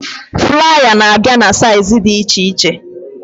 Flaya na abịa na saịz dị iche iche